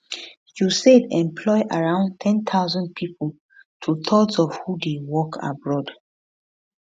usaid employ around 10000 pipo twothirds of who dey work abroad